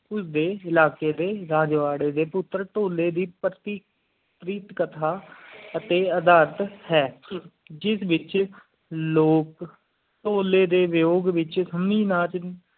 ਉਸ ਡੇ ਰਾਜਵਾਰੀ ਇਲਾਕੀ ਡੇ ਪੁੱਤਰ ਭੋਲੇ ਡੇ ਪੱਟੀ ਪ੍ਰੇਮ ਕਥਾ ਅਤਿ ਅਧਾਰਤ ਹੈ ਜਿਸ ਵਿਚ ਲੋਗ ਭੋਲੀ ਡੇ ਵਯੋਗ ਵਿਚ ਸੰਮੀ ਨਾ ਦੀ